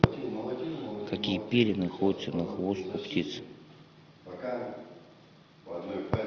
какие перья находятся на хвост у птиц